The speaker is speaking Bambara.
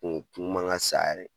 N kun ma ŋa sa yɛrɛ